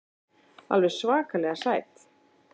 Alveg svakalega sæt.